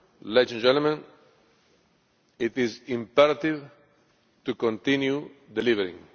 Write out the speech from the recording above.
Ladies and gentlemen, it is imperative to continue delivering.